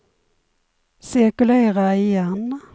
cirkulera igen